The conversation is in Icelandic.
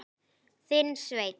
Þinn, Sveinn.